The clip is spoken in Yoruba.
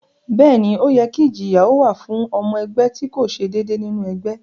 Bẹ́ẹ̀ ni, ó yẹ kí ìjìyà ó wà fún ọmọ ẹgbẹ́ tí kò ṣe déédéé nínú ẹgbẹ́